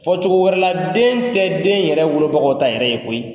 Fɔ cogo wɛrɛ la den tɛ den yɛrɛ wolobagaw yɛrɛ ta ye koyi.